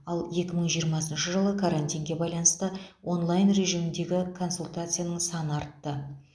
ал екі мың жиырмасыншы жылы карантинге байланысты онлайн режиміндегі консультацияның саны артты